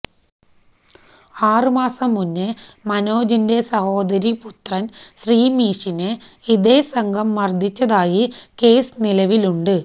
ആറുമാസം മുന്നേ മനോജിന്റ സഹോദരി പുത്രന് ശ്രമീഷിനെ ഇതേ സംഘം മര്ദ്ദിച്ചതായി കേസ്സ് നിലവിലുണ്ട്